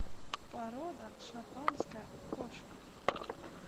порода шотландская кошка